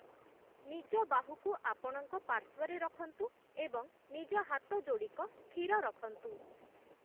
ନିଜ ବାହୁକୁ ଆପଣଙ୍କ ପାର୍ଶ୍ଵରେ ରଖନ୍ତୁ ଏବଂ ନିଜ ହାତଯୋଡ଼ିକ ସ୍ଥିର ରଖନ୍ତୁ ।